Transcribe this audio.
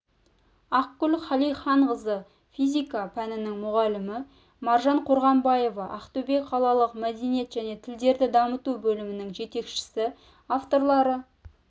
ақгүл қалиханқызы физика пәнінің мұғалімі маржан қорғанбаева ақтөбе қалалық мәдениет және тілдерді дамыту бөлімінің жетекшісі авторлары